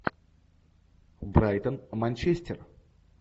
брайтон манчестер